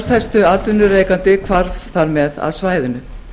þess kjölfestuatvinnurekandi hvarf þar með af svæðinu